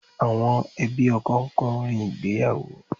Àwọn ẹbí ọkọ ń kọrin ìgbéyàwó